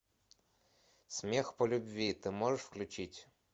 смех по любви ты можешь включить